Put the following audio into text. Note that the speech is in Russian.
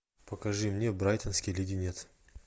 покажи мне брайтонский леденец